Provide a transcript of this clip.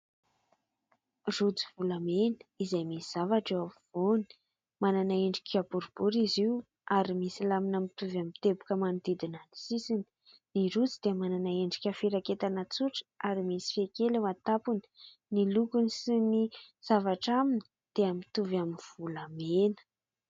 Rojo volamena izay misy zavatra eo ampovoany. Manana endrika boribory izy io ary misy lamina mitovy amin'ny teboka manodidina ny sisiny. Ny rojo dia manana endrika firaketana tsotra ary misy fehy kely eo an-tampony. Ny lokony sy ny zavatra aminy dia mitovy amin'ny volamena.